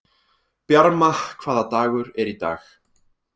Bjarma, hvaða dagur er í dag?